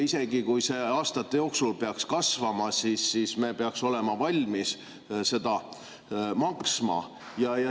Isegi kui see aastate jooksul peaks kasvama, siis me peaks olema valmis seda maksma.